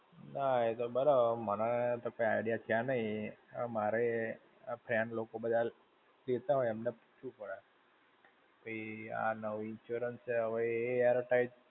ના એ તો બરાબર, મને તો કઈ idea છે નહિ. હવે મારેય આ friend લોકો બધા કેટ હોય એમને પૂછવું પડે. કે આ નવી insurance છે હવે એ યાર